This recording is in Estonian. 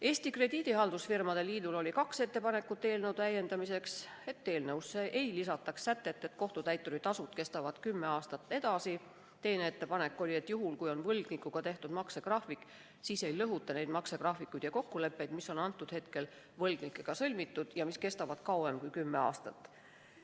Eesti Krediidihaldusfirmade Liidul oli eelnõu täiendamiseks kaks ettepanekut: esimene ettepanek oli see, et eelnõusse ei lisataks sätet, mille kohaselt kohtutäituri tasu nõue kehtib veel kümme aastat, ning teine ettepanek oli see, et kui võlgnikuga on tehtud maksegraafik, siis ei lõhutaks neid maksegraafikuid ja kokkuleppeid, mis võlgnikuga on sõlmitud ja mis kestavad kauem kui kümme aastat.